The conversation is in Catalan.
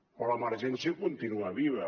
però l’emergència continua viva